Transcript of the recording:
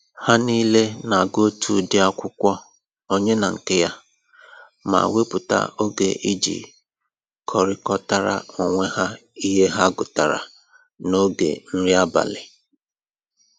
Ha niile na-agụ otu ụdị akwụkwọ onye na nke ya, ma wepụta oge iji kọrịkọtara onwe ha ihe ha gụtara n'oge nri abalị